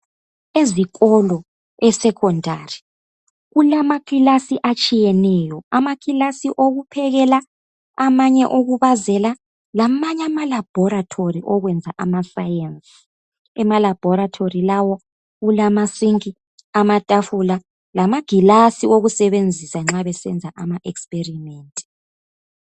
Ezikolo esekhondari, kulamakilasi atshiyeneyo, amakilasi okuphekela, amanye awokubazela, lamanye amalabhorethori okuyenza amasayensi. Emalabhorethori lawo kulama sinki, amatafula, lamagilasi wokusebenzisa nxa besenza ama experiment.